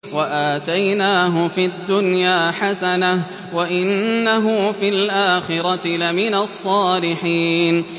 وَآتَيْنَاهُ فِي الدُّنْيَا حَسَنَةً ۖ وَإِنَّهُ فِي الْآخِرَةِ لَمِنَ الصَّالِحِينَ